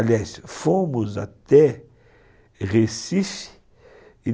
Aliás, fomos até Recife.